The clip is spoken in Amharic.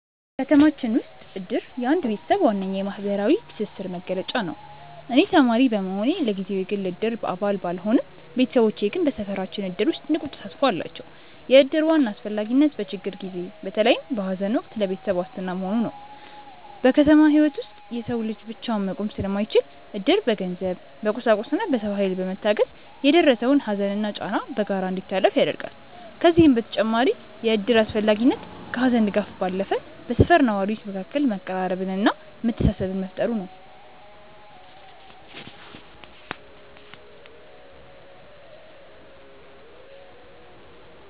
ከተማችን ውስጥ እድር የአንድ ቤተሰብ ዋነኛ የማህበራዊ ትስስር መገለጫ ነው። እኔ ተማሪ በመሆኔ ለጊዜው የግል የእድር አባል ባልሆንም፣ ቤተሰቦቼ ግን በሰፈራችን እድር ውስጥ ንቁ ተሳትፎ አላቸው። የእድር ዋና አስፈላጊነት በችግር ጊዜ፣ በተለይም በሐዘን ወቅት ለቤተሰብ ዋስትና መሆኑ ነው። በከተማ ህይወት ውስጥ የሰው ልጅ ብቻውን መቆም ስለማይችል፣ እድር በገንዘብ፣ በቁሳቁስና በሰው ኃይል በመታገዝ የደረሰውን ሐዘንና ጫና በጋራ እንዲታለፍ ያደርጋል። ከዚህም በተጨማሪ የእድር አስፈላጊነት ከሐዘን ድጋፍ ባለፈ በሰፈር ነዋሪዎች መካከል መቀራረብንና መተሳሰብን መፍጠሩ ነው።